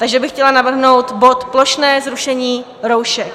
Takže bych chtěla navrhnout bod Plošné zrušení roušek.